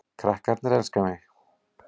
Krakkarnir elska mig